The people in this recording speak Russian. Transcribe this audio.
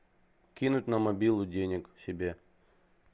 кинуть на мобилу денег себе